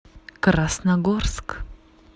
красногорск